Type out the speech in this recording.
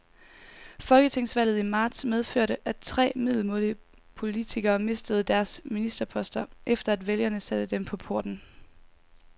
Folketingsvalget i marts medførte, at tre middelmådige politikere mistede deres ministerposter, efter at vælgerne satte dem på porten.